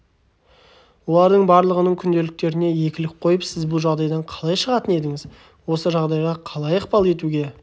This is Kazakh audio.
олардың барлығының күнделіктеріне екілік қойды сіз бұл жағдайдан қалай шығатын едіңіз осы жағдайға қалай ықпал етуге